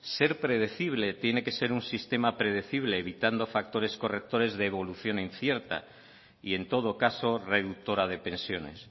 ser predecible tiene que ser un sistema predecible evitando factores correctores de evolución incierta y en todo caso reductora de pensiones